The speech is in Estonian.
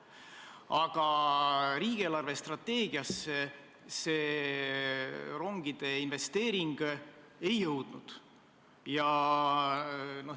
Aga riigi eelarvestrateegiasse see rongide investeering ei jõudnud.